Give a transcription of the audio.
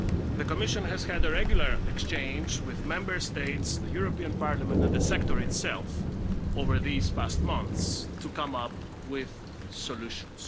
The Commission has had a regular exchange with Member States, the European Parliament and the sector itself over these past months to come up with solutions.